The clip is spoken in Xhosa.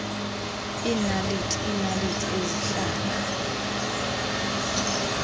iinaliti iinaliti ezihlaba